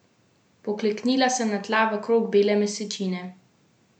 Pokleknila sem na tla v krog bele mesečine.